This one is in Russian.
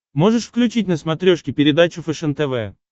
можешь включить на смотрешке передачу фэшен тв